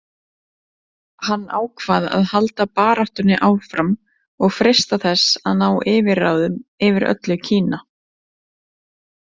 Hann ákvað að halda baráttunni áfram og freista þess að ná yfirráðum yfir öllu Kína.